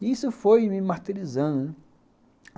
E isso foi me martirizando, né?